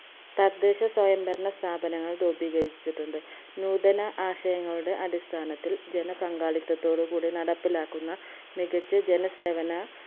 തദ്ദേശ സ്വയം ഭരണ സ്ഥാപനങ്ങൾ രൂപീകരിച്ചിട്ടുണ്ട് നൂതന ആശയങ്ങളുടെ അടിസ്ഥാനത്തിൽ ജന പങ്കാളിത്തത്തോട് കൂടി നടപ്പിലാക്കുന്ന മികച്ച ജന സേവന